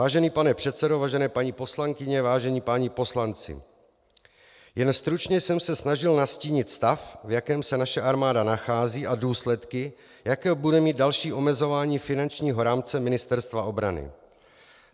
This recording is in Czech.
Vážený pane předsedo, vážené paní poslankyně, vážení páni poslanci, jen stručně jsem se snažil nastínit stav, v jakém se naše armáda nachází, a důsledky, jaké bude mít další omezování finančního rámce Ministerstva obrany.